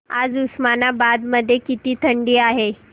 आज उस्मानाबाद मध्ये किती थंडी आहे